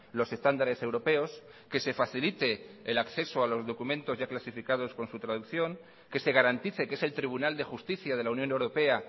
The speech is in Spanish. los estándares europeos que se facilite el acceso a los documentos ya clasificados con su traducción que se garantice que es el tribunal de justicia de la unión europea